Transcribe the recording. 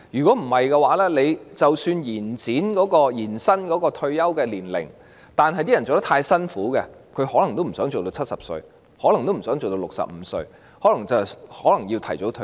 否則，即使延展了退休年齡，但工作太辛苦，他們可能亦不想工作到70歲，甚至可能不想工作到65歲，要提早退休。